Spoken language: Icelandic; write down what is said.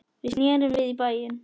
Við snerum við í bæinn.